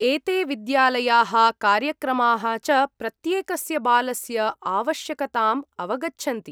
एते विद्यालयाः कार्यक्रमाः च प्रत्येकस्य बालस्य आवश्यकताम् अवगच्छन्ति।